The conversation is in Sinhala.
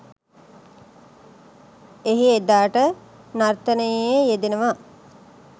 එහි එදාට නර්තනයේ යෙදෙනවා.